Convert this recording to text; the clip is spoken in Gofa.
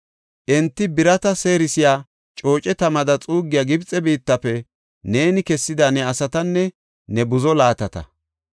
Enti, birata seerisiya cooce tamada xuuggiya Gibxe biittafe neeni kessida ne asatanne ne buzo laatata.